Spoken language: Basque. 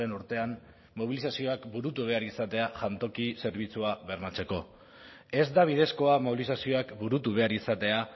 urtean mobilizazioak burutu behar izatea jantoki zerbitzua bermatzeko ez da bidezkoa mobilizazioak burutu behar izatea